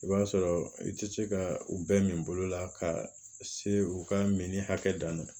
I b'a sɔrɔ i tɛ se ka u bɛn min bolo la ka se u ka mini hakɛ dan na